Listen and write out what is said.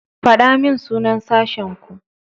Faɗa min sunan sashenku.